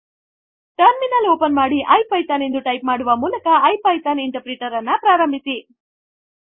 terminal open ಮಾಡಿ IPython ಎಂದು type ಮಾಡುವ ಮೂಲಕ ಇಪಿಥಾನ್ ಇಂಟರ್ಪ್ರಿಟರ್ ಪ್ರಾರಂಭಿಸಿ